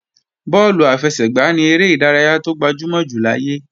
Bọ́ọ̀lù àfẹsẹ̀gbá ni eré ìdárayá tó gbajúmọ̀ jù láyé